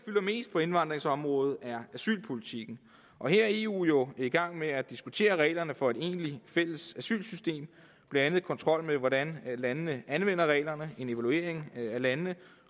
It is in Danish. mest på indvandringsområdet er asylpolitikken og her er eu jo i gang med at diskutere reglerne for et egentligt fælles asylsystem blandt andet kontrol med hvordan landene anvender reglerne en evaluering af landene